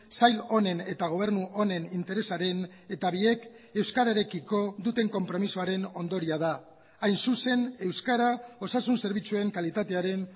sail honen eta gobernu honen interesaren eta biek euskararekiko duten konpromisoaren ondorioa da hain zuzen euskara osasun zerbitzuen kalitatearen